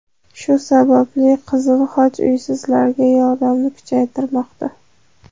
Shu sababli Qizil Xoch uysizlarga yordamni kuchaytirmoqda.